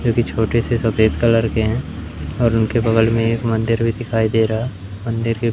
जो कि छोटे से सफेद कलर के हैं और उनके बगल में एक मंदिर भी दिखाई दे रहा मंदिर के--